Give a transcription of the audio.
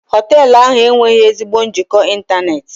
Hoteelu ahụ enweghị ezigbo njikọ ịntanetị.